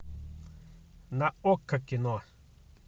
на окко кино